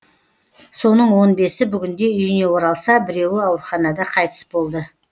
соның он бесі бүгінде үйіне оралса біреуі ауруханада қайтыс болды